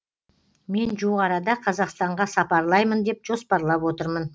мен жуық арада қазақстанға сапарлаймын деп жоспарлап отырмын